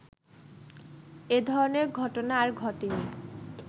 এধরনের ঘটনা আর ঘটেনি